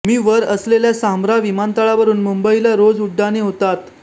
मी वर असलेल्या सांब्रा विमानतळावरुन मुंबईला रोज उड्डाणे होतात